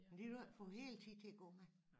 Det kan du ikke for hele tiden til at gå med